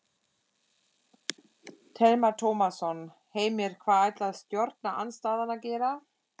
Telma Tómasson: Heimir hvað ætlar stjórnarandstaðan að gera?